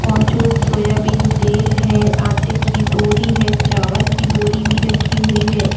Fortune soya bean तेल है आटे की बोरी है चावल की बोरी भी रखी हुई है।